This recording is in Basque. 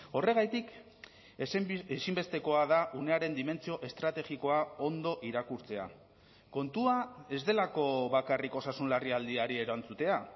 horregatik ezinbestekoa da unearen dimentsio estrategikoa ondo irakurtzea kontua ez delako bakarrik osasun larrialdiari erantzutea